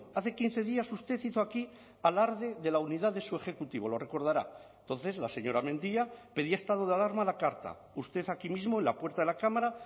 hace quince días usted hizo aquí alarde de la unidad de su ejecutivo lo recordará entonces la señora mendia pedía estado de alarma a la carta usted aquí mismo en la puerta de la cámara